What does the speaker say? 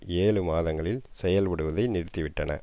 ஏழு மாதங்களில் செயல்படுவதை நிறுத்திவிட்டன